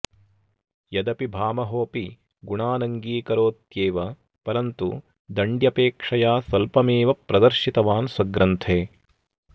यदपि भामहोऽपि गुणानङ्गीकरोत्येव परन्तु दण्ड्यपेक्षया स्वल्पमेव प्रदर्शितवान् स्वग्रन्थे